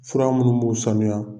Fura munnu b'u sanuya